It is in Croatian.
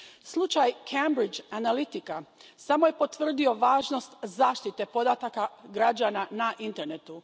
Slučaj Cambridge Analytica samo je potvrdio važnost zaštite podataka građana na internetu.